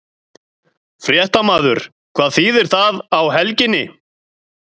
Fréttamaður: Hvað þýðir það á helginni?